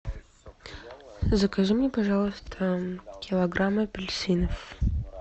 закажи мне пожалуйста килограмм апельсинов